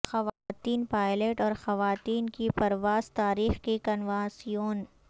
خواتین پائلٹ اور خواتین کی پرواز تاریخ کی کنوانسیون